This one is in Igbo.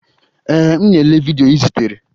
Ee, m na-ele vidiyo ị zitere.